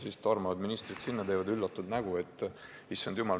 Siis tormavad ministrid sinna ja teevad üllatunud näo: "Issand jumal!